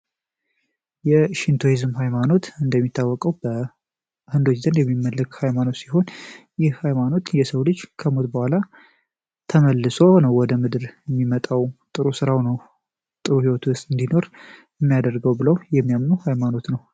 የሽንት ሃይማኖት እንደሚታወቀው በ ሚመለከ ሃይማኖት ሲሆን ይህ ሃይማኖት የሰው ልጅ ከሞት በኋላ ወደ ምድር የሚመጣው ጥሩ ስራው ነው ሊኖር ብለው የሚያምኑ ሃይማኖት ነው